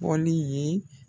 Bɔli ye